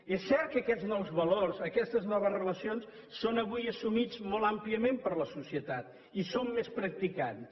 és cert que aquests nous valors aquestes noves relacions són avui assumits molt àmpliament per la societat i són més practicats